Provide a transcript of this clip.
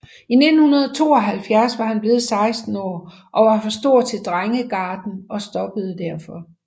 I 1972 var han blevet 16 år og var for stor til drengegarden og stoppede derfor